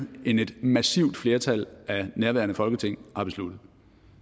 end et massivt flertal af nærværende folketing har besluttet